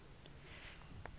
fn siswati fal